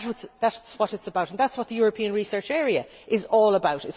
That is what it is about and that is what the European Research Area is all about.